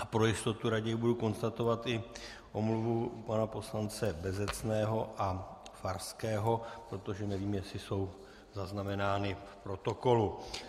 A pro jistotu raději budu konstatovat i omluvu pana poslance Bezecného a Farského, protože nevím, jestli jsou zaznamenány v protokolu.